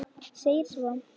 segir svo